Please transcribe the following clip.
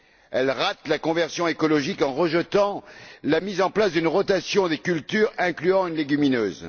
Elle rate la conversion écologique en rejetant la mise en place d'une rotation des cultures incluant une légumineuse.